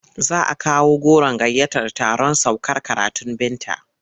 Za a kawo goron gayyatar taron saukar karatun Binta.